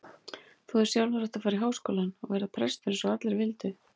Þú hefðir sjálfur átt að fara í Háskólann og verða prestur eins og allir vildu.